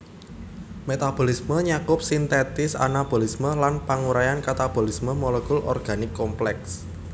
Metabolisme nyakup sintesis anabolisme lan panguraian katabolisme molekul organik komplèks